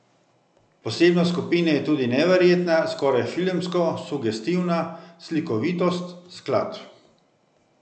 Posebnost skupine je tudi neverjetna, skoraj filmsko sugestivna slikovitost skladb.